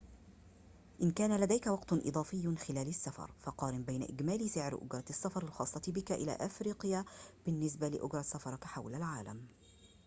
إن كان لديك وقت إضافي خلال السفر فقارن بين إجمالي سعر أجرة السفر الخاصة بك إلى أفريقيا بالنسبة لأجرة سفرك حول العالم